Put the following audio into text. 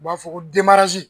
U b'a fɔ ko .